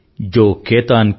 जो केतन के पात